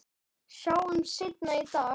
Sjáumst seinna í dag